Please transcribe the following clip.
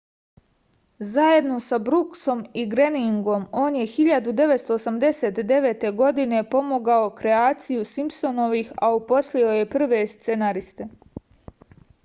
zajedno sa bruksom i greningom on je 1989. godine pomogao kreaciju simpsonovih a uposlio je i prve scenariste